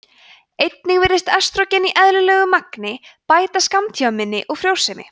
einnig virðist estrógen í eðlilegu magni bæta skammtímaminni og frjósemi